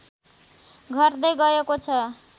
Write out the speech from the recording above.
घट्दै गएको छ